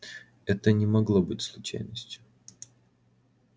это не могло быть случайностью